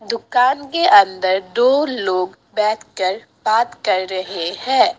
दुकान के अंदर दो लोग बैठकर बात कर रहे हैं।